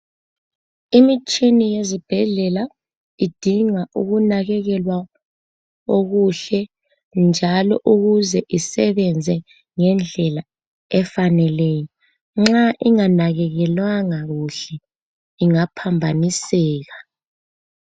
Imitshini ezibhedlela, idinga ukunakekelwa okuhle njalo ukuze isebenze ngendlela efaneleyo. Nxa inganakekelwanga kuhle ingaphambaniseka.